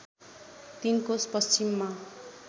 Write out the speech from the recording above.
३ कोस पश्चिममा